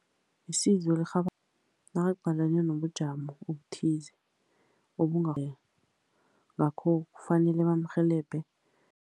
Isizo nakaqalene nobujamo obuthize ngakho, kufanele bamrhelebhe.